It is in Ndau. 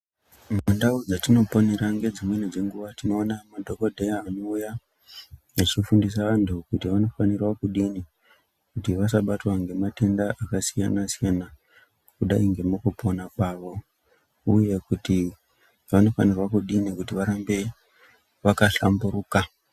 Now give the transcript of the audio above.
Mundau dzatinopeonera ngedzimweni dzenguwa tinoona madhokodheya anouya vechifundisa antu kuti vanofanira kudini kuti vasabatwa nematenda akasiyana siyana kudai ngemukupona kwavo uye kuti vanofanirwa kudini kuti varambe vakahlamburuka.